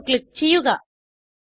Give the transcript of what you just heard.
save click ചെയ്യുക